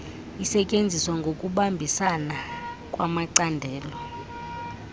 isetyenzwa ngokubambisana kwamacandelo